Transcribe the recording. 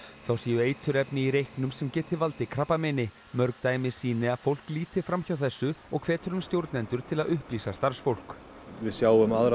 þá séu eiturefni í reyknum sem geti valdið krabbameini mörg dæmi sýni að fólk líti fram hjá þessu og hvetur hann stjórnendur til að upplýsa starfsfólk við sjáum aðra